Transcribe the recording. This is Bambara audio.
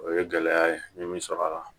O ye gɛlɛya ye n ye min sɔrɔ a la